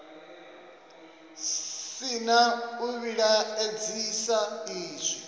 si na u vhilaedzisa izwi